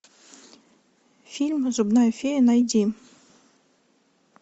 фильм зубная фея найди